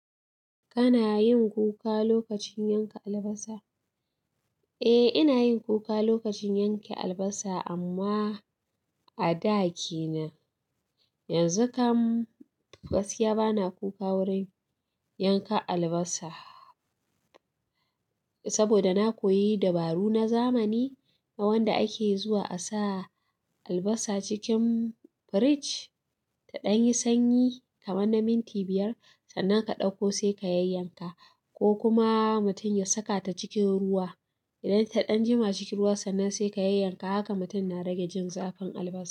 Kana yin kuka lokacin yanka albasa? Eh, ina yin kuka lokacin yanke albasa amma a da ke nan. Yanzu kam gaskiya bana kuka wurin yanka albasa saboda na koyi dabaru na zamani na wanda ake zuwa a sa albasa cikin firij ta ɗan yi sanyi kamar na minti biyar. Sannan ka ɗauko sai ka yayyanka ko kuma mutum ya saka ta cikin ruwa. Idan ta ɗan jima cikin ruwa sannan sai ka yayyanka. Haka mutum na rage jin zafin albasa.